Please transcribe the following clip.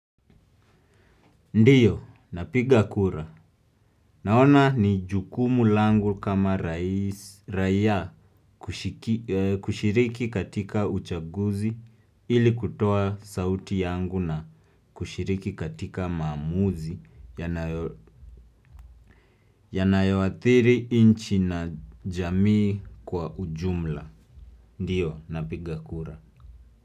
Ndiyo, napigakura. Naona ni jukumu langu kama raia kushiki kushiriki katika uchaguzi ili kutoa sauti yangu na kushiriki katika maamuzi yanayoathiri inchi na jamii kwa ujumla. Ndiyo, napigakura.